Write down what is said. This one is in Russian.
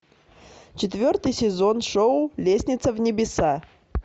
четвертый сезон шоу лестница в небеса